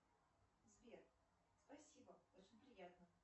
сбер спасибо очень приятно